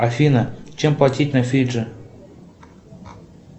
афина чем платить на фиджи